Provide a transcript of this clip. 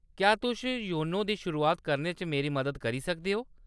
क्या तुस योनो दी शुरुआत करने च मेरी मदद करी सकदे ओ ?